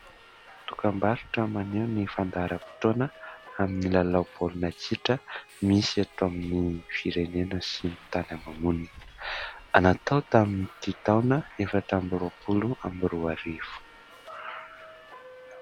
Dokam-barotra maneho ny fandaharam-potoana amin'ny lalao baolina kitra misy eto amin'ny firenena sy ny tany ama-monina, natao tamin'ny ity taona efatra amby roapolo amby roa arivo.